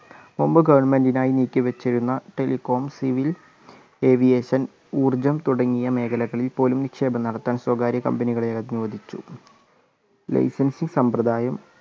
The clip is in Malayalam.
മുമ്പ് ഗവൺമെന്റിനായി നീക്കിവച്ചിരുന്ന ടെലികോം, സിവിൽ, ഏവിയേഷൻ, ഊർജ്ജം തുടങ്ങിയ മേഖലകളിൽ പോലും നിക്ഷേപം നടത്താൻ സ്വകാര്യ കമ്പനികളെ അനുവദിച്ചു.